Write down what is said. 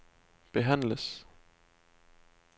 behandles